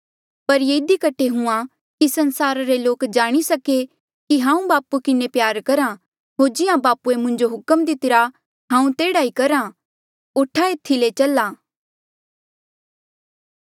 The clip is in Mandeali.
पर ये इधी कठे हुंहां कि संसार रे लोक जाणी सके कि हांऊँ बापू किन्हें प्यार करहा होर जिहां बापूए मुंजो हुक्म दीतिरा मैं तेह्ड़ा ई करहा उठा एथी ले चला